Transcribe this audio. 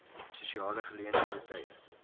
sosiale geleenthede tye